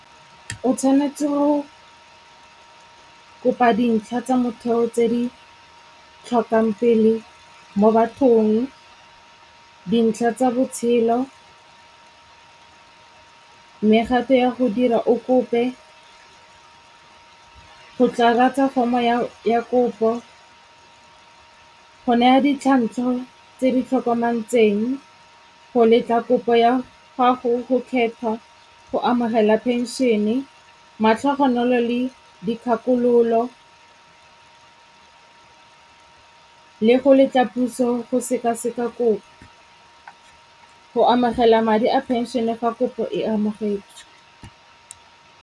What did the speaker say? O tshwanetse go kopa dintlha tsa motheo tse di tlhokang pele mo bathong, dintlha tsa botshelo, mme gape ya go dira o kope go tlatsa foromo ya kopo, go naya tse di tlhokometseng, go letla kopo ya gago, go kgetha, go amogela phenšene, matlhogonolo le dikgakololo le go letla puso go sekaseka kopo. Go amogela madi a phenšene fa kopo e amogetswe.